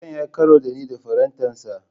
Karen ya yi karo da ni da farantansa.